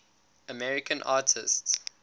american artists